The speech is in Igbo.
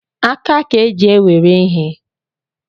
Aka ka eji ewere ihe